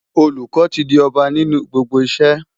Olùkọ́ ti di ọba nínú gbogbo iṣẹ́.